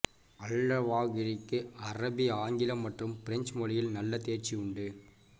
அல் ழவாகிரிக்கு அரபி ஆங்கிலம் மற்றும் பிரெஞ்சு மொழியில் நல்ல தேர்ச்சி உண்டு